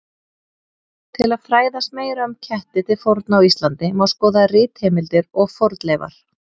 Til að fræðast meira um ketti til forna á Íslandi má skoða ritheimildir og fornleifar.